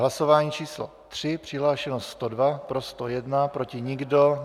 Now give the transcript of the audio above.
Hlasování číslo 3, přihlášeno 102, pro 101, proti nikdo.